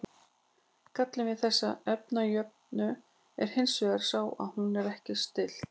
gallinn við þessa efnajöfnu er hins vegar sá að hún er ekki stillt